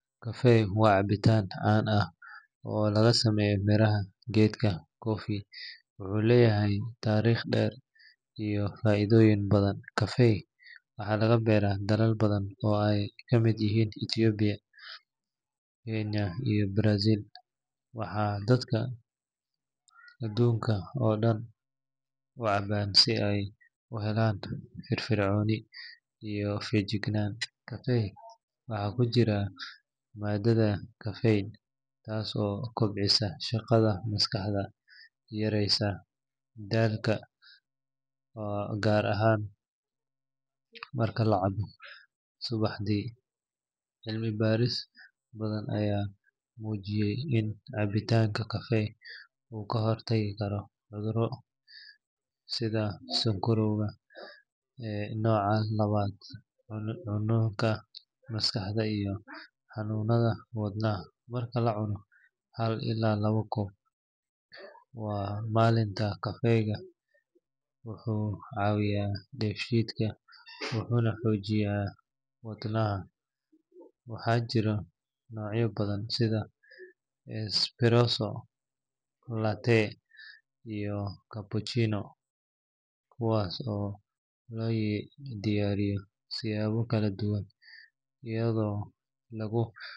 Kafee waa cabitaan caan ah oo laga sameeyo miraha geedka coffee wuxuuna leeyahay taariikh dheer iyo faa’iidooyin badan. Kafee waxaa laga beeraa dalal badan oo ay kamid yihiin Itoobiya, Kenya iyo Brazil, waxaana dadka adduunka oo dhan u cabbaan si ay u helaan firfircooni iyo feejignaan. Kafeega waxaa ku jira maadada caffeine taas oo kobcisa shaqada maskaxda, yareysana daalka, gaar ahaan marka la cabbo subaxdii. Cilmi baarisyo badan ayaa muujiyay in cabbitaanka kafee uu ka hortagi karo cudurro sida sonkorowga nooca labaad, xanuunka maskaxda iyo xanuunnada wadnaha. Marka la cabo hal ilaa laba koob maalintii, kafee wuxuu caawiyaa dheefshiidka, wuxuuna xoojiyaa wadnaha. Waxaa jira noocyo badan sida espresso, latte, iyo cappuccino kuwaas oo loo diyaariyo siyaabo kala duwan iyadoo lagu.